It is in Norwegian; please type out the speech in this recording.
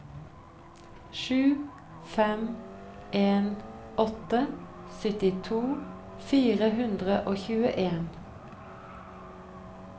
sju fem en åtte syttito fire hundre og tjueen